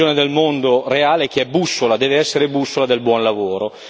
La visione del mondo reale che è bussola, deve essere bussola del buon lavoro.